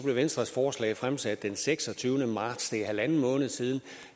blev venstres forslag fremsat den seksogtyvende marts det er en en halv måned siden